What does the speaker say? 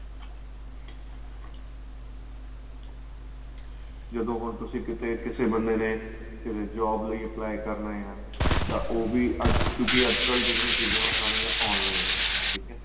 ਜਦੋਂ ਹੁਣ ਤੁਸੀਂ ਕਿਥੇ ਕਿਸੇ ਬੰਦੇ ਨੇ ਕਿਸੇ job ਲਈ apply ਕਰਨਾ ਆਂ ਤਾਂ ਉਹ ਵੀ ਕਿਉਂਕਿ ਅੱਜ ਕੱਲ ਜਿਹੜੀਆਂ ਚੀਜਾਂ ਆਂ ਉਹ ਸਾਰੀਆਂ online ਏ ਠੀਕ ਏ